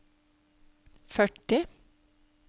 førti